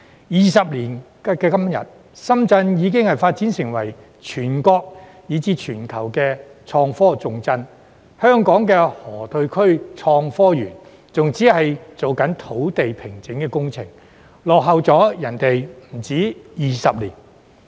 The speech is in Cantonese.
二十年後的今天，深圳已發展成為全國以至全球的創科重鎮，香港的河套區創科園仍只是在進行土地平整工程，落後他人不止20年。